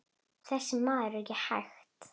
Þessi maður er ekki hægt!